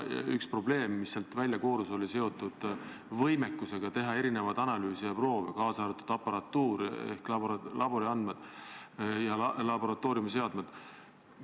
Üks probleeme, mis sealt välja koorus, oli seotud võimekusega teha analüüse ja proove, kaasa arvatud aparatuuri ja laboratooriumiseadmete teema.